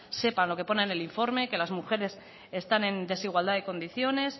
sepan lo que pone en el informe que las mujeres están en desigualdad de condiciones